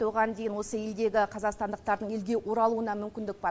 оған дейін осы елдегі қазақстандықтардың елге оралуына мүмкіндік бар